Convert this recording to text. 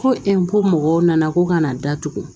Ko ko mɔgɔw nana ko kana datugu